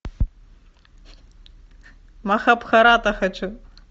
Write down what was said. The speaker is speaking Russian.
махабхарата хочу